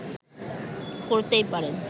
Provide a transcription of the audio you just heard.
করতেই পারেন